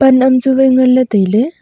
lam chu vai nganle taile.